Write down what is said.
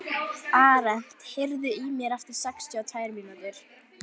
Arent, heyrðu í mér eftir sextíu og tvær mínútur.